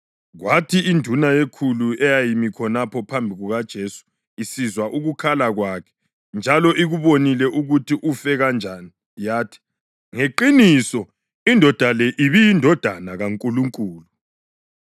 Kwathi induna yekhulu eyayimi khonapho phambi kukaJesu isizwa ukukhala kwakhe njalo ikubonile ukuthi ufe kanjani yathi, “Ngeqiniso indoda le ibe iyiNdodana kaNkulunkulu!”